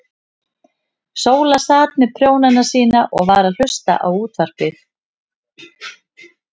Sóla sat með prjónana sína og var að hlusta á útvarpið.